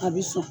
A bi sɔn